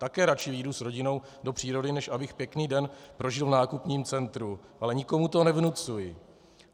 Také radši vyjdu s rodinou do přírody, než abych pěkný den prožil v nákupním centru, ale nikomu to nevnucuji.